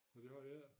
Nå det har de ik